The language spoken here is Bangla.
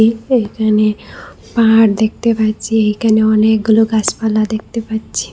এখানে পাহাড় দেখতে পাচ্ছি এখানে অনেকগুলো গাছপালা দেখতে পাচ্ছি।